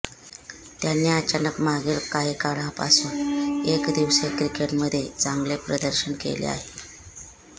त्यांनी अचानक मागील काही काळापासून एकदिवसीय क्रिकेटमध्ये चांगले प्रदर्शन केले आहे